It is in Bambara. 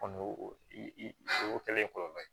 Kɔni y'o o kɛlen ye kɔlɔlɔ ye